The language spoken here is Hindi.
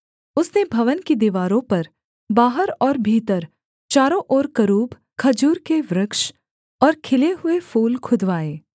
उसने भवन की दीवारों पर बाहर और भीतर चारों ओर करूब खजूर के वृक्ष और खिले हुए फूल खुदवाए